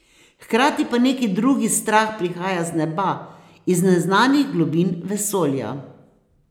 Hkrati pa neki drugi strah prihaja z neba, iz neznanskih globin vesolja.